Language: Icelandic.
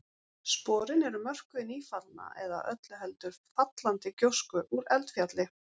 Sporin eru mörkuð í nýfallna eða öllu heldur fallandi gjósku úr eldfjalli.